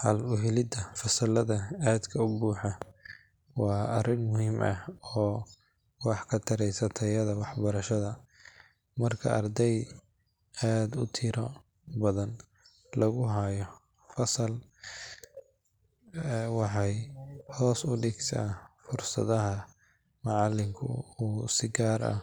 Xal u helidda fasallada aadka u buuxa waa arrin muhiim ah oo wax ka taraysa tayada waxbarashada. Marka arday aad u tiro badan lagu hayo hal fasal, waxay hoos u dhigtaa fursadda macallinku uu si gaar ah